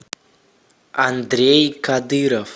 андрей кадыров